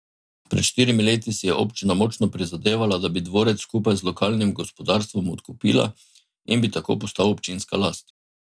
Pred štirimi leti si je občina močno prizadevala, da bi dvorec skupaj z lokalnim gospodarstvom odkupila in bi tako postal občinska last.